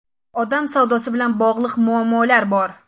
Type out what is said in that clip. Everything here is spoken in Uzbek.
Odam savdosi bilan bog‘liq muammolar bor.